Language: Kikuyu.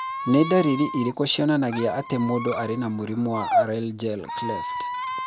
Nĩ ndariri irĩkũ cionanagia atĩ mũndũ arĩ na mũrimũ wa Laryngeal cleft?